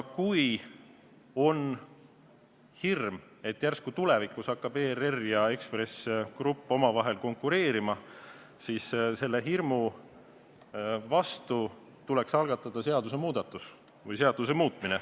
Kui on hirm, et järsku tulevikus hakkavad ERR ja Ekspress Grupp omavahel konkureerima, siis selle hirmu vastu tuleks algatada seadusemuudatus.